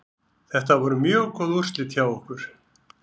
Þetta voru mjög góð úrslit hjá okkur.